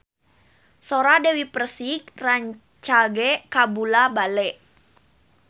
Sora Dewi Persik rancage kabula-bale